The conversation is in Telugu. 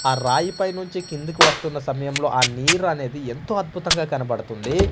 ఆ రాయి పై నుంచి కిందకి వస్తున్న సమయంలో ఆ నీరు అనేది ఎంతో అద్భుతంగా కనబడుతుంది.